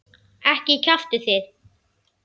Ekki kjaftið þið.